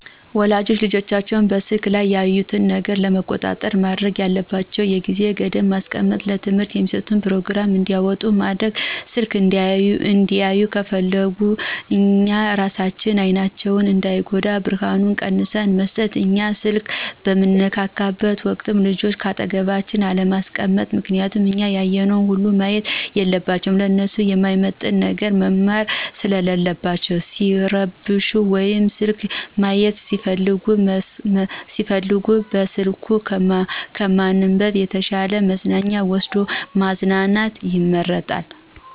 ወላጆች ልጆቻቸው በስልኩ ላይ የሚያዩትን ነገር ለመቆጣጠር ማድረግ ያለባቸው ነገር የጊዜ ገደብ ማስቀመጥ፣ ለትምህርት የሚስጡትን ፕሮግራም እንዲያወጡ ማድረግ፣ ስልክ እንዲያዩ ከፍለግነ እኛ እራሳችን አይናቸው እንዳይጎዳ ብርሀኑን ቀንስን መስጠት፣ እኛ ስልክ በንነካካበት ወቅት ልጆችን ከአጠገባችን አለማስቀመጥ ምክንያቱም እኛ ያየነውን ሁሉ ማየት የለባቸውም ለነሱ ማይመጥን ነገር መማር ሰለለባቸው፣ ሲረብሹ ወይም ስልክ ማይት ቢፈልጉ በስልክ ከማባበል የተሻ መዝናኛ ወስዶ ማዝናናት ይመረጣል።